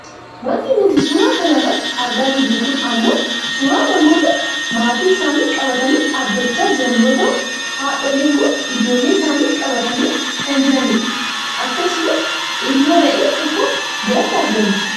Wanti nuti suuraa kana irratti argaa jirru kun ammoo suuraa namoota maatii isaanii qabatanii dhaabbachaa jiran yoo ta'u haadholiin kun ijoollee isaanii qabatanii kan jiranidha. Akkasumas ilmoo re'ee tokko biratti argamti.